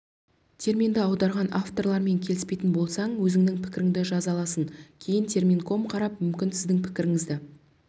терминді аударған авторлармен келіспейтін болсаң өзіңнің пікіріңді жаза аласың кейін терминком қарап мүмкін сіздің пікіріңізді